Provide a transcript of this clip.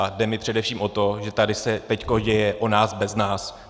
A jde mi především o to, že tady se teď děje o nás bez nás.